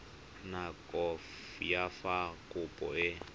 nako ya fa kopo e